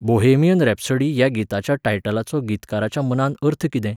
Bohemian Rhapsody ह्या गिताच्या टायटलाचो गितकाराच्या मतान अर्थ कितें?